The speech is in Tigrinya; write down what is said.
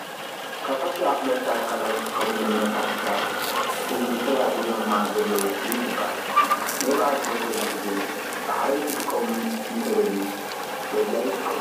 ካብ ሕጊ ኣክበርቲ ኣካላት ዝጥቀምሎም መሰሪሒታት እዞም ሰብኣይ ሒዞማ ዘለው ጥይት ትበሃል። ሌባ ኣብ ዝመፀሉ ግዜ ብሓይሊ ክጥቀም እተደልዩ በዚኣ ይጥቀሙ።